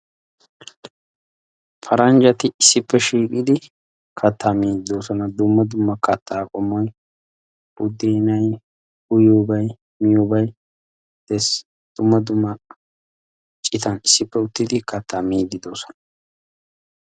Paranjjati issippe shiiqidi kattaa miidi do'oosona. dumma kattaa qommoy budeenay miyobay, uyyiyobay de'es. dumma dumma citan issippe uttidi kattaa miiddi do'oosona.